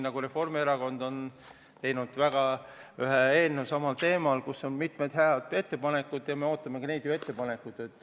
Ka Reformierakond on samal teemal koostanud ühe eelnõu, kus on mitmed head mõtted, ja me ootame ka neilt ettepanekuid.